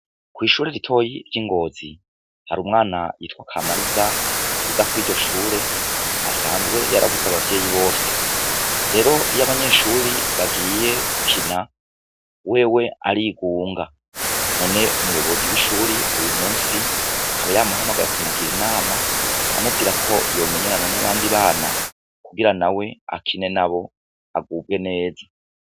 Kw'ishure ritoyi ry'ingozi hari umwana yitwa akamariza iga kw'iryo shure asanzwe yoarabuze abavyeyi bose rero iyo abanyeshuri bagiye ukina wewe arigunga none umuyobozi w'ishuri uyu musi akaba yamuhamagaye akamugira inama amubwira ko ko yomenyerana n'abandi bana kugira na we akine na bo agubwe neza.